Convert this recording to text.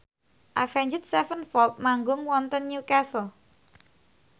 Avenged Sevenfold manggung wonten Newcastle